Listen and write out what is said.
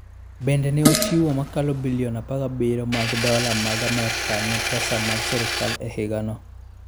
Bende ne ochiwo mokalo bilion 17 mag dola mag Amerka ne pesa mag sirkal e higano.